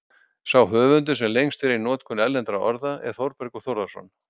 Sá höfundur, sem lengst fer í notkun erlendra orða, er Þórbergur Þórðarson.